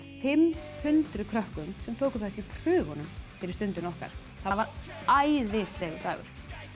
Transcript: fimm hundruð krökkum sem tóku þátt í prufunum fyrir Stundina okkar það var æðislegur dagur